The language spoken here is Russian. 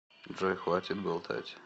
джой хватит болтать